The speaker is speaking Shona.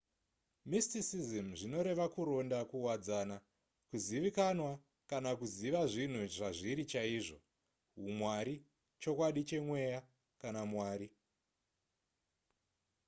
mysticism zvinoreva kuronda kuwadzana kuzivikanwa kana kuziva zvinhu zvazviri chaizvo humwari chokwadi chemweya kana mwari